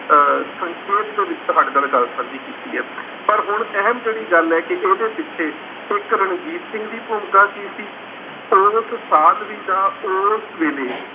ਅਹ ਸੰਖੇਪ ਦੇ ਵਿੱਚ ਤੁਹਾਡੇ ਨਾਲ ਗੱਲ ਸਾਂਝੀ ਕੀਤੀ ਹੈ ਪਰ ਹੁਣ ਅਹਿਮ ਜਿਹੜੀ ਗੱਲ ਹੈ ਕਿ ਇਹਦੇ ਪਿੱਛੇ ਇੱਕ ਰਣਜੀਤ ਸਿੰਘ ਦੀ ਭੂਮਿਕਾ ਕੀ ਸੀ ਉਸ ਸਾਧਵੀ ਦਾ ਉਸ ਵੇਲੇ